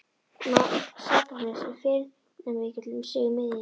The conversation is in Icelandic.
Satúrnus er firnamikill um sig miðjan.